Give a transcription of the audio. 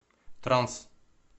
транс